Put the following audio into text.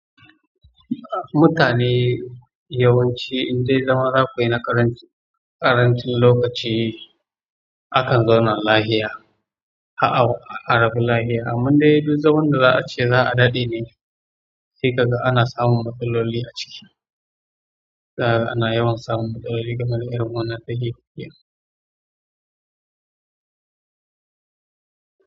Mutane yawanci indai zama zakuyi na ƙaranci-- ƙarancin lokaci akan zauna lahiya, ha-ha-arabu lahiya. Kamar dai duk zaman da za'a ce za'a daɗe ne sai kaga ana samun matsaloli aciki, za kaga ana yawan samun matsaloli ga zama irin wannan.